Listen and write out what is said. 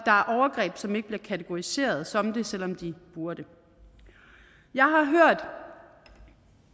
overgreb som ikke bliver kategoriseret som det selv om de burde jeg har hørt